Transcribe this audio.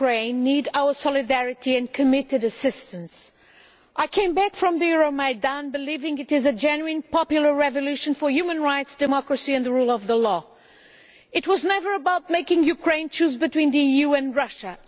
Madam President, the brave people of Ukraine need our solidarity and committed assistance. I came back from the Euromaidan believing it is a genuine, popular revolution for human rights, democracy and the rule of the law. It was never about making Ukraine choose between the EU and Russia.